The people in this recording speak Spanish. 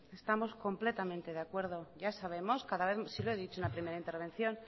estamos completamente de acuerdo ya sabemos cada vez si lo he dicho en la primera intervención